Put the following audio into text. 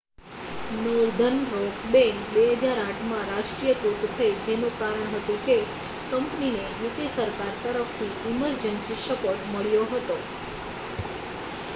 northern Rock Bank 2008માં રાષ્ટ્રીયકૃત થઈ જેનું કારણ હતું કે કંપનીને યુકે સરકાર તરફથી ઇમર્જન્સી સપોર્ટ મળ્યો હતો